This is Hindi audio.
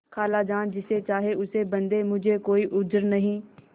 खालाजान जिसे चाहें उसे बदें मुझे कोई उज्र नहीं